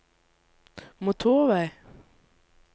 motorvei